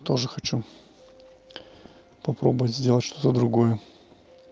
тоже хочу попробовать сделать что-то другое